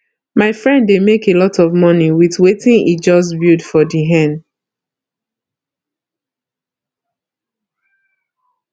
my friend dey make a lot of money with wetin he just build for the hen